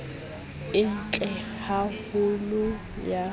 e ntle ha holo ya